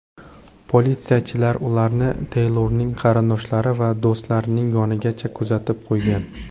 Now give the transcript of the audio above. Politsiyachilar ularni Teylorning qarindoshlari va do‘stlarining yonigacha kuzatib qo‘ygan.